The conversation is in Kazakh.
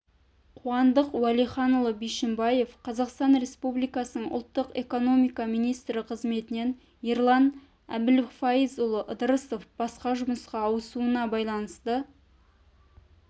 қуандық уәлиханұлы бишімбаев қазақстан республикасының ұлттық экономика министрі қызметінен ерлан әбілфайызұлы ыдырысов басқа жұмысқа ауысуына байланысты